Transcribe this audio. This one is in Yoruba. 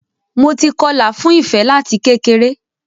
Mo ti kọlà fún Ìfẹ láti kékeré.